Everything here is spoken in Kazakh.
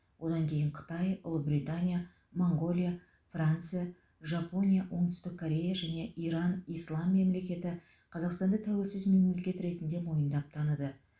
одан кейін қытай ұлыбритания моңғолия франция жапония оңтүстік корея және иран ислам мемлекеті қазақстанды тәуелсіз мемлекет ретінде мойындап таныды